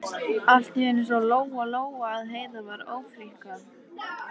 Allt í einu sá Lóa Lóa að Heiða var að ófríkka.